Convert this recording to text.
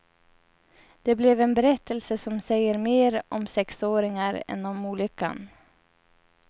Det blev en berättelse som säger mer om sexåringar än om olyckan.